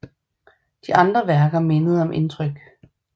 De andre værker mindede om Indtryk